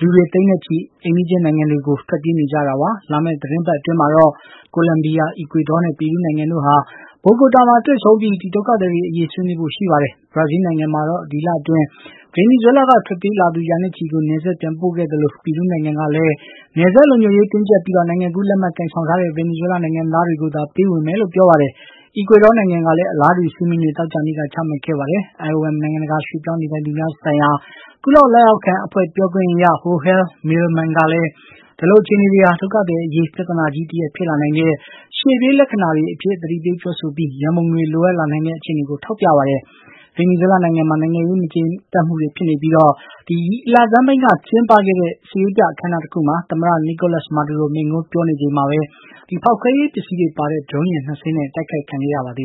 လူတွေ သိန်းနဲ့ချီပြီး အိမ်နီးချင်း နိုင်ငံတွေဆီ ထွက်ပြေးနေကြ တာပါ။ လာမယ့် သီတင်းပတ်အတွင်းမှာတော့ ကိုလံဘီယာ၊ အီကွေဒေါနဲ့ ပီရူးနိုင်ငံတို့ဟာ Bogota မှာ တွေ့ဆုံပြီး ဒီ ဒုက္ခသည်တွေအရေး ဆွေးနွေးဖို့ ရှိနေပါတယ်။ ဘရာဇီးနိုင်ငံမှာတော့ ဒီလအတွင်း ဗင်နီဇွဲလားကထွက်ပြေးလာသူ ရာနဲ့ချီကို နယ်စပ်ပြန်ပို့ခဲ့သလို ပီရူးနိုင်ငံ ကလည်း နယ်စပ်လုံခြုံရေးတင်းကြပ်ပြီးနိုင်ငံကူးလက်မှတ် ကိုင်ဆောင်ထားတဲ့ ဗင်နီဇွဲလား နိုင်ငံသားတွေကို သာ ပေးဝင်မယ်လို့ ပြောပါတယ်။ အီကွေဒေါနိုင်ငံကလည်း အလားတူ စည်းမျဉ်းတွေ သောကြာနေ့က ချမှတ်ခဲ့တာပါ။ IOM နိုင်ငံတကာ ရွှေ့ပြောင်းနေထိုင်သူများဆိုင်ရာ ကုလ လက်အောက်ခံအဖွဲ့ ပြောခွင့်ရ Joel Millman က လည်း ဒီလိုအခြေအနေဟာ ဒုက္ခသည်အရေး ပြဿနာကြီးတရပ်ဖြစ်လာနိုင်တဲ့ ရှေ့ပြေးလက္ခဏာတွေအဖြစ် သတိပေးပြောဆိုထားပြီး ရန်ပုံငွေလိုအပ်လာနိုင်တဲ့ အခြေအနေကို ထောက်ပြပါတယ်။ ဗင်နီဇွဲလားနိုင်ငံမှာ နိုင်ငံရေး မငြိမ်မသက်မှုတွေဖြစ်နေပြီး ဒီလဆန်းပိုင်းက ကျင်းပတဲ့ စစ်ရေးပြ အခမ်းအနား တခုမှာ သမ္မတ Nicolas Maduro မိန့်ခွန်းပြောနေချိန် ဖောက်ခွဲရေးပစ္စည်းတွေပါတဲ့ ဒရုန်းယာဉ် နှစ်စင်းနဲ့ တိုက်ခိုက်ခံခဲ့ရပါတယ